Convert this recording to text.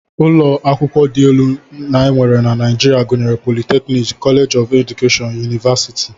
Ụlọakwụkwọ dị elu e nwere na Naijiria gụnyere politeknik, koleeji keedukeshọn, yunivasiti